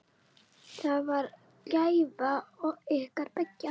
Það var gæfa ykkar beggja.